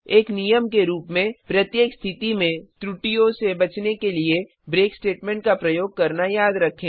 एक नियम के रूप में प्रत्येक स्थिति में त्रुटियों से बचने के लिए ब्रेक स्टेटमेंट का प्रयोग करना याद रखें